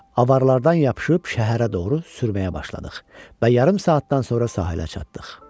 Avarlardan yapışıb şəhərə doğru sürməyə başladıq və yarım saatdan sonra sahilə çatdıq.